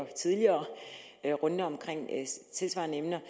tidligere runder om tilsvarende emner